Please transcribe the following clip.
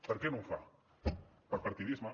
per què no ho fa per partidisme